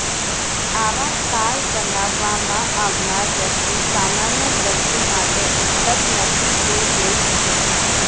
આવા તાલ બનાવવામાં આવનાર વ્યક્તિ સામાન્ય દ્રષ્ટિ માટે ઉપલબ્ધ નથી તે જોઈ શકે છે